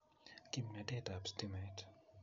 Kimnatet ab stimet